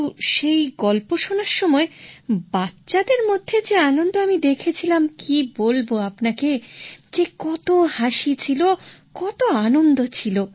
কিন্তু সেই গল্প শোনার সময় বাচ্চাদের মধ্যে যে আনন্দ আমি দেখেছিলাম কী বলব আপনাকে যে কত হাসি ছিল কত আনন্দ ছিল